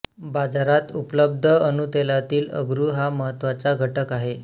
बाजारात उपलब्ध अणूतेलातील अगरू हा महत्त्वाचा घटक आहे